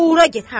Gora get,